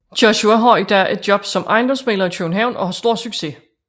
Joshua har i dag et job som ejendomsmægler i København og har stor succes